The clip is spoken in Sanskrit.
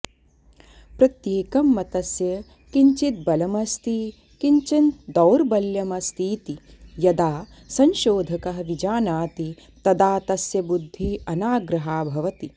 प्रत्येकं मतस्य किञ्चिद् बलम् अस्ति किञ्चन दौर्बल्यमस्तीति यदा संशोधकः विजानाति तदा तस्य बुद्धिः अनाग्रहा भवति